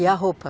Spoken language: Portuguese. E a roupa?